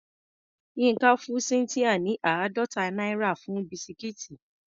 Yínká fún Cynthia ní àádọ́ta náírà fún bisikíìtì.